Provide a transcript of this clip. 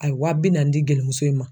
A ye wa bi naani di gelimuso in ma.